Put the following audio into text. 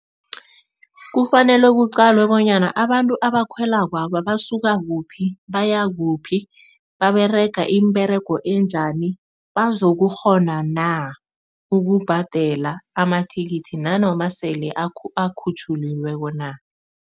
Kufanele kuqalwe bonyana, abantu abakhwelakwaba basuka kuphi, baya kuphi, baberega iimberego enjani. Bazokukghona na ukubhadela ama-ticket nanoma sele akhutjhuliweko na.